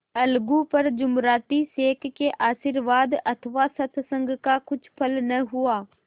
अलगू पर जुमराती शेख के आशीर्वाद अथवा सत्संग का कुछ फल न हुआ